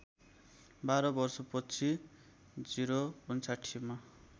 १२ वर्षछि ०५९ मा